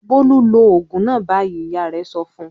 "Bólú lo òògùn náà báyìí!" Ìyá rẹ̀ sọ fún un.